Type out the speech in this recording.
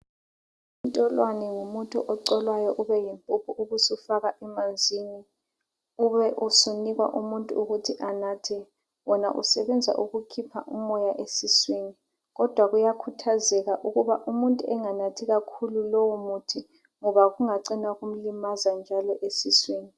Intolwane ngumuthi ocholwayo ube yimphuphu ubusufakwa emanzini, ube usunikwa umuntu ukuthi anathe. Wona usebenza ukukhipha umoya esiswini kodwa kuyakhuthazeka ukuba umuntu enganathi kakhulu lowu muthi ngoba kungacina kumlimaza njalo esiswini.